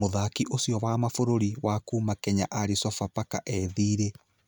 Mũthaki ũcio wa mabũrũri, wa kuuma Kenya arĩ Sofapaka e thiĩrĩ.